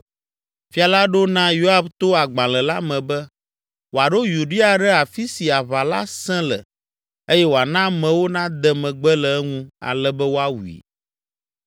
Fia la ɖo na Yoab to agbalẽ la me be wòaɖo Uria ɖe afi si aʋa la sẽ le eye wòana amewo nade megbe le eŋu ale be woawui!